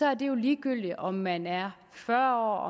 er det jo ligegyldigt om man er fyrre